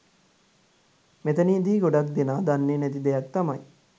මෙතනදි ගොඩක් දෙනා දන්නේ නැති දෙයක් තමයි